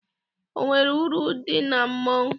O nwere uru dị na mmọnwụ?